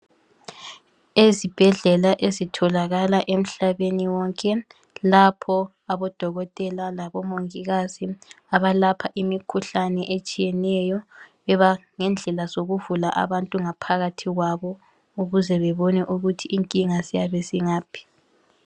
Ezibhedlela ezitholakala emhlabeni wonke lapho abodokotela labomongikazi abalapha imikhuhlane etshiyeneyo ngendlela zokuvula abantu ngaphakathi kwabo ukuze bebone ukuthi inkinga ziyabe zingaphi.